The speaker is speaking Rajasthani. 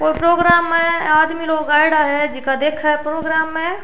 कोई प्रोग्राम है आदमी लोग आइदा है जीका देखा है प्रोगाम ए।